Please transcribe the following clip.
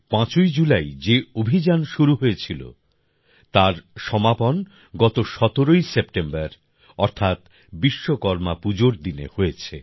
৫ই জুলাই যে অভিযান শুরু হয়েছিল তার সমাপন গত ১৭ই সেপ্টেম্বর অর্থাৎ বিশ্বকর্মা পুজোর দিনে হয়েছে